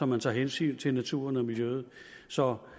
man tager hensyn til naturen og miljøet så